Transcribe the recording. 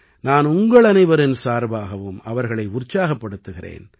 நான் உங்களனைவரின் சார்ப்பாகவும் அவர்களை உற்சாகப்படுத்துகிறேன்